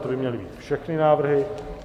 To by měly být všechny návrhy.